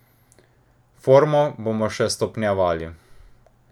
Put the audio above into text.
Formo bomo še stopnjevali.